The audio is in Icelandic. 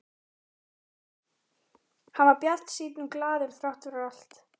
Hann var bjartsýnn og glaður þrátt fyrir allt.